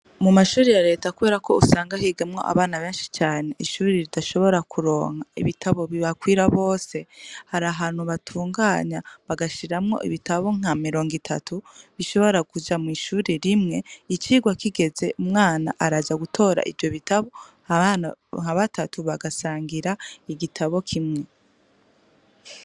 Mu mashuri ya leta, kubera ko usanga higamwo abana benshi cane ishuri ridashobora kuronka ibitabo bibakwira bose hari ahantu batunganya bagashiramwo ibitabo nka mirongo itatu bishobora kuja mw'ishuri rimwe icirwa kigeze umwana araja gutora ivyo bitabo abana nka batatu bagasangira igitabo kimwe.